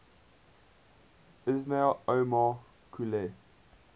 ismail omar guelleh